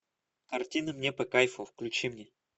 картина мне по кайфу включи мне